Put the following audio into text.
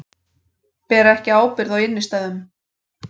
Bera ekki ábyrgð á innstæðum